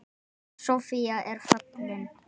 Amma Soffía er fallin.